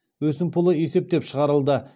өсімпұлы есептеп шығарылды